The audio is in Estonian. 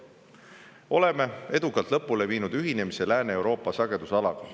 Oleme edukalt lõpule viinud ühinemise Lääne-Euroopa sagedusalaga.